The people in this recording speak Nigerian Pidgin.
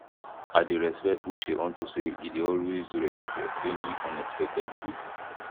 i dey respect uche unto say e dey always ready for any unexpected bill